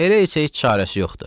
Elə isə heç çarəsi yoxdur.